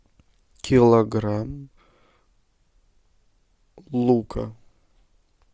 килограмм лука